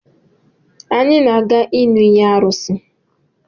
Anyi na-aga ịṅị iyi n'arusi